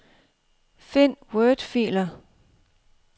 Find wordfiler.